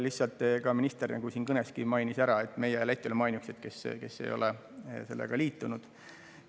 Lihtsalt, nagu ka minister kõnes mainis, meie ja Läti oleme ainukesed, kes ei ole sellega liitunud.